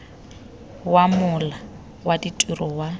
wa mola wa ditiro wa